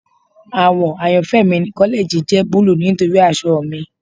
Awọ ayanfẹ mi ni kọlẹji jẹ buluu nitori aṣọ mi